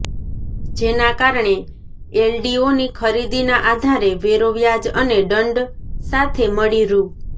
જેના કારણે એલડીઓની ખરીદીના આધારે વેરો વ્યાજ અને દંડ સાથે મળી રૃ